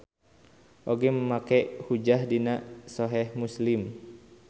Oge make hujjah dina Soheh Muslim.